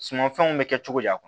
Sumanfɛnw bɛ kɛ cogo di